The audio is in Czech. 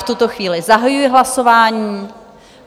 V tuto chvíli zahajuji hlasování.